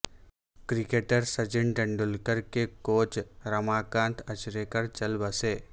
cricketer Sachin Tendulkar کے coach Ramakant Achrekar چل بسے